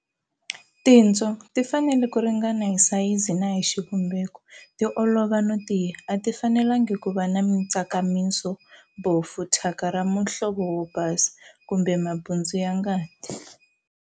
Tinswo-Ti fanele ku ringana hi sayizi na hi xivumbeko, ti olova no tiya. A ti fanelengi ku va na mitsakamiso, bofu, thyaka ra muhlovo wo basa, kumbe mabundzu ya ngati.